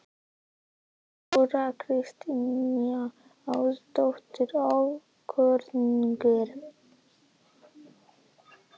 Þóra Kristín Ásgeirsdóttir: Ókunnugir?